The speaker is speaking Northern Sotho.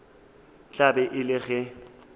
tla be e le ge